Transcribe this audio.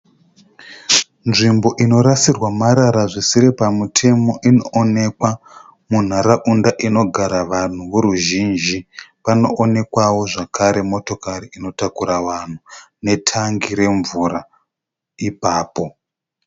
Nzvimbo inorasirwa marara zvisiri pamutemo inoonekwa munharaunda inogara vanhu voruzhinji panoonekwawo zvakare motokari inotakura vanhu netangi remvura ipapo.